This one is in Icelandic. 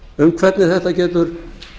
um það hvernig þetta getur